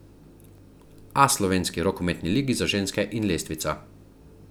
A slovenski rokometni ligi za ženske in lestvica.